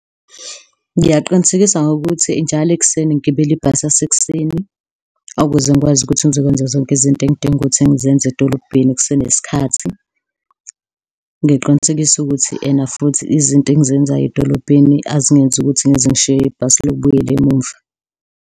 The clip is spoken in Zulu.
Ngingaqinisekisa ngokuthi njalo ekuseni ngigibele ibhasi lasekuseni ukuze ngikwazi ukuthi ngizokwenza zonke izinto engidinga ukuthi ngizenze edolobheni kusenesikhathi. Ngiqinisekise ukuthi ena futhi izinto engizenzayo edolobheni azingenzi ukuthi ngize ngishiywe ibhasi lokubuyela emuva.